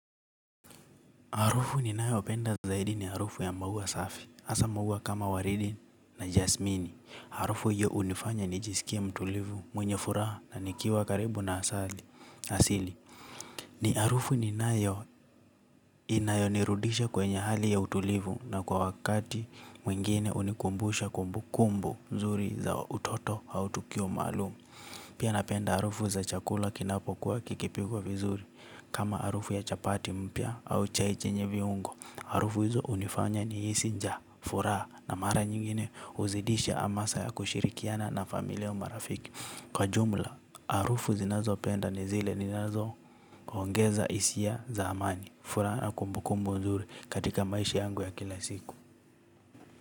Harufu ninayo penda zaidi ni harufu ya maua safi. Hasa maua kama waridi na jasmini. Harufu hio hunifanya nijiskie mtulivu mwenye furaha na nikiwa karibu na asali asili. Ni harufu ni nayo inayonirudisha kwenye hali ya utulivu na kwa wakati mwingine hunikumbusha kumbu kumbu nzuri za utoto au tukio maalum. Pia napenda harufu za chakula kinapo kuwa kikipigwa vizuri kama harufu ya chapati mpya au chai chenye viungo. Harufu hizo hunifanya nihisi njaa, furaha na mara nyingine huzidisha amasa ya kushirikiana na familia au marafiki. Kwa jumla, harufu zinazo penda ni zile zinazo ongeza hisia za amani. Furaha na kumbukumbu nzuri katika maishi yangu ya kila siku.